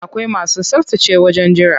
Akwai masu tsaftace wajen jira.